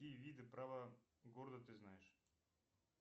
какие виды права города ты знаешь